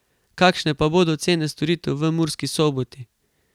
Kakšne pa bodo cene storitev v Murski Soboti?